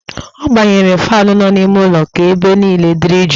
Ọ gbanyere faanụ nọ n'ime ụlọ ka ebe niile dịrị jụụ